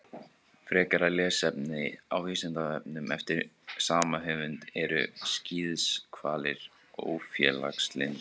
Frekara lesefni á Vísindavefnum eftir sama höfund: Eru skíðishvalir ófélagslyndir?